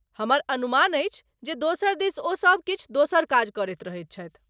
हमर अनुमान अछि जे दोसर दिस ओ सभ किछु दोसर काज करैत रहैत छथि।